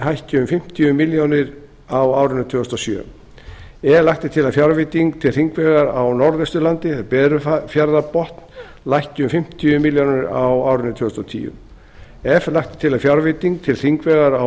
hækki um fimmtíu milljónir króna á árinu tvö þúsund og sjö e lagt er til að fjárveiting til hringvegar á norðausturlandi lækki um fimmtíu milljónir króna á árinu tvö þúsund og tíu f lagt er til að fjárveiting til hringvegar á